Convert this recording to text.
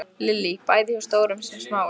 Lillý: Bæði hjá stórum sem smáum?